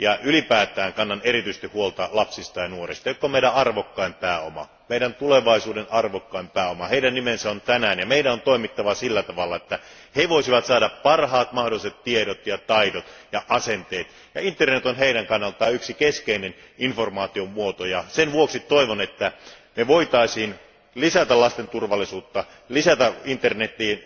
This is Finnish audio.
Ylipäätään kannan erityisesti huolta lapsista ja nuorista, jotka ovat meidän arvokkain pääomamme, meidän tulevaisuutemme arvokkain pääoma. Heistä on huolehdittava juuri nyt, ja meidän on toimittava sillä tavalla, että he voisivat saada parhaat mahdolliset tiedot ja taidot ja asenteet, ja internet on heidän kannaltaan yksi keskeinen informaation lähde. Sen vuoksi toivon, että me voisimme lisätä lasten turvallisuutta lisäämällä internetiin